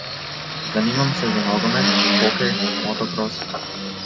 Zanimam se za nogomet, hokej, motokros ...